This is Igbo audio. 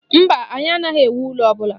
Mba, anyị anaghị ewu ụlọ ọbụla.